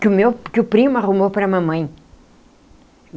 que o meu que o primo arrumou para a mamãe.